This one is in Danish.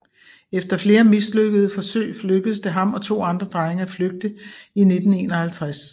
Efter flere mislykkede forsøg lykkedes det ham og to andre drenge at flygte i 1951